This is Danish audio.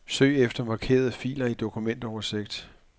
Søg efter markerede filer i dokumentoversigt.